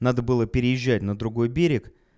надо было переезжать на другой берег